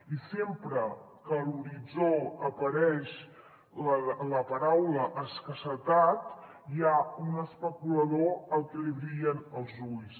i sempre que a l’horitzó apareix la paraula escassetat hi ha un especulador al que li brillen els ulls